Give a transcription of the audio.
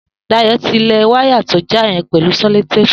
Dayo ti lẹ wàyá tó jà yẹn pẹ̀lú sẹ̀lótépú